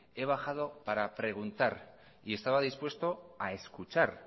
he bajado para preguntar y estaba dispuesto a escuchar